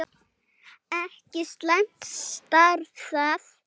Ekki slæmt starf það!